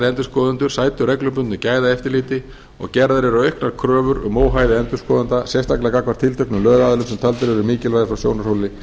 endurskoðendur sæti reglubundnu gæðaeftirliti og gerðar eru auknar kröfur um óhæði endurskoðenda sérstaklega gagnvart tilteknum lögaðilum sem taldir eru mikilvægir frá sjónarhóli